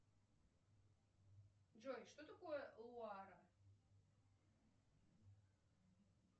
джой что такое луара